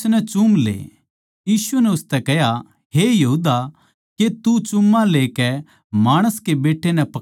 यीशु नै उसतै कह्या हे यहूदा के तू मिठ्ठी लेकै माणस के बेट्टा नै पकड़वावै सै